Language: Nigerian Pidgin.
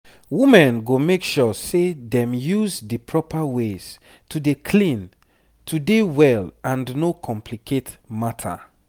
women go make sure say dem use di proper ways to dey clean to dey well and no complicate matter